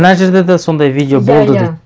мына жерде де сондай видео болды дейді иә иә